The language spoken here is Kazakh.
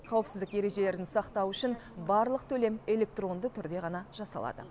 қауіпсіздік ережелерін сақтау үшін барлық төлем электронды түрде ғана жасалады